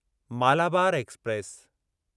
Malabar express